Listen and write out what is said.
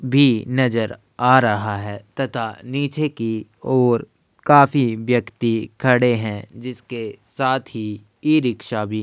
भी नजर आ रहा है तता नीचे की ओर काफी व्यक्ति खड़े हैं जिसके साथी ई-रिक्शा भी --